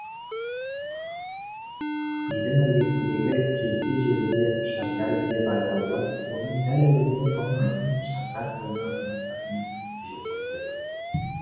үйдің іргесіндегі келте желіде шабдар бие байлаулы оның дәл өзінен аумайтын шабдар құлыны ноқтасын жұлқып тұр